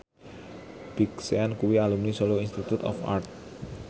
Big Sean kuwi alumni Solo Institute of Art